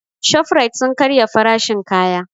Shofrait sun karya farashin kaya